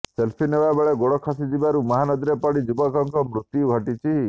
selfie ନେବା ବେଳେ ଗୋଡ଼ ଖସିଯିବାରୁ ନଦୀରେ ପଡ଼ି ଯୁବକଙ୍କର ମୃତ୍ୟୁ ଘଟିଛି